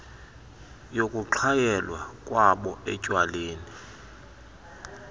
yokuxhayelwa kwabo etywaleni